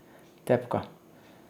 Tepka.